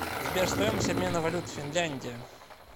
сбер стоимость обмена валют финляндия